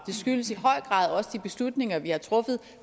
det skyldes i høj grad også de beslutninger vi har truffet